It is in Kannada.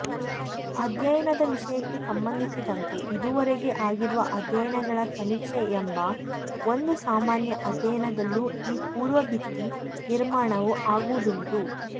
ಅಧ್ಯಯನದ ವಿಷಯಕ್ಕೆ ಸಂಬಂಧಿಸಿದಂತೆ ಇದುವರೆಗೆ ಆಗಿರುವ ಅಧ್ಯಯನಗಳ ಸಮೀಕ್ಷೆ ಎಂಬ ಒಂದು ಸಾಮಾನ್ಯ ಅಧ್ಯಾಯದಲ್ಲು ಈ ಪೂರ್ವಭಿತ್ತಿ ನಿರ್ಮಾಣವು ಆಗುವುದುಂಟು